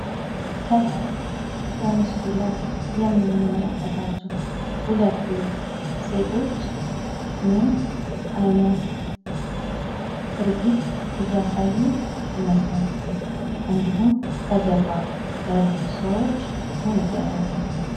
ከላይ በምስሉ ላይ የምንመለከታቸው ሁለቱ ሴቶች ምን አይነት ትርዒት እያሳዩ ይመስላችሁ። እንዲሁም ከጀርባ ያሉት ሰዎች ምን እያደረጉ ነው።